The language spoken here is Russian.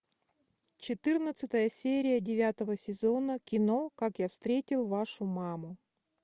четырнадцатая серия девятого сезона кино как я встретил вашу маму